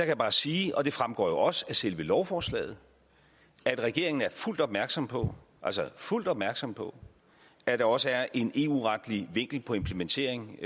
jeg bare sige og det fremgår også af selve lovforslaget at regeringen er fuldt opmærksom på altså fuldt opmærksom på at der også er en eu retlig vinkel på implementeringen